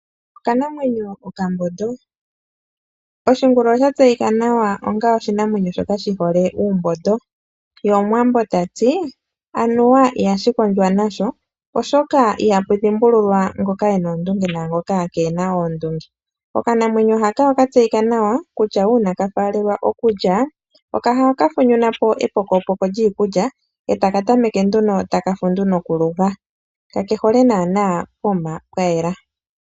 Okanamwenyo okambondo. Oshingulu osha tseyika nawa onga oshinamwenyo shoka shihole uumbondo ye omuwambo tati "anuwa ihashi kondjwa nasho oshoka anuwa ihapu dhimbulwa ngoka ena oondunge naangoka keena oondunge". Okanamwenyo haka oka tseyika nawa kutya uuna taka faalelwa okulya ohaka tilehi epokopoko lyikukya e taka tameke nduno taka fundu nokulya ,ka kehole naana pokuma pwa yela.